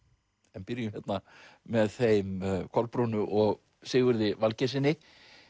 en byrjum með þeim Kolbrúnu og Sigurði Valgeirssyni